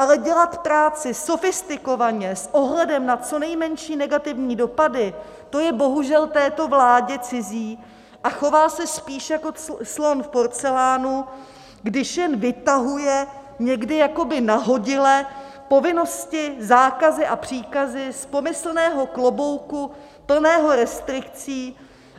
Ale dělat práci sofistikovaně, s ohledem na co nejmenší negativní dopady, to je bohužel této vládě cizí a chová se spíš jako slon v porcelánu, když jen vytahuje někdy jakoby nahodile povinnosti, zákazy a příkazy z pomyslného klobouku plného restrikcí